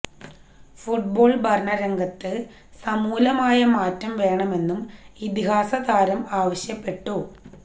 football ഭരണരംഗത്ത് സമൂലമായ മാറ്റം വേണമെന്നും ഇതിഹാസ താരം ആവശ്യപ്പെട്ടു